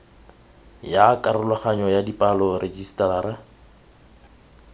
ya karologanyo ya dipalo rejisetara